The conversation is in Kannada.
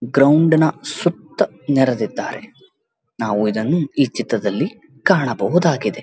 ಗ್ರೌಂಡಿನ್ ಸುತ್ತ ನೆರದಿದ್ದಾರೆ ನಾವು ಇದನ್ನು ಈ ಚಿತ್ರದಲ್ಲಿ ಕಾಣಬಹುದಾಗಿದೆ.